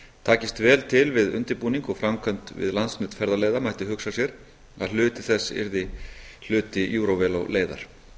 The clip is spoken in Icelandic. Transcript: takist vel til við undirbúning og framkvæmd við landsnet ferðaleiða mætti hugsa sér að hluti þess yrði hluti eurovelo leiðar